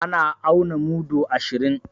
An auna mudu ashirin